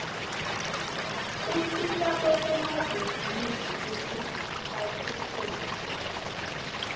usita nabosomabhizinisi batfutfuke